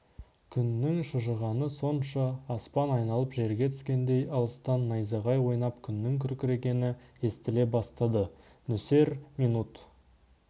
күннің шыжығаны сонша аспан айналып жерге түскендей алыстан найзағай ойнап күннің күркірегені естіле бастады нөсер минут